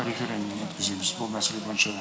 референдум өткіземіз бұл мәселе бойынша